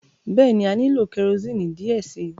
Bẹẹni, a nilo kẹrosini diẹ sii